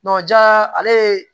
ja ale ye